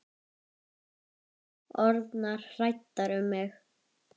Orðnar hræddar um mig.